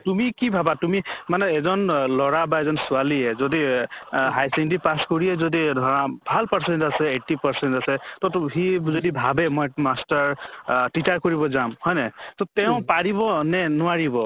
তুমি কি ভাবা তুমি মানে এজন অ লʼৰা বা এজন ছোৱালীয়ে যদি এহ high secondary pass কৰিয়ে যদি ধৰা ভাল percent আছে eighty percent আছে তʼ তো সি যদি ভাবে মই masters আহ teacher কৰিব যাম হয় নে, তʼ তেওঁ পাৰিব নে নোৱাৰিব?